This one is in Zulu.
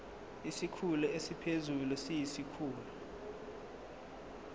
isikhulu esiphezulu siyisikhulu